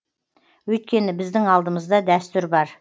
өйткені біздің алдымызда дәстүр бар